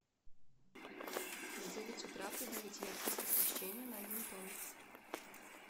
в девять утра прибавить яркость освещения на один тон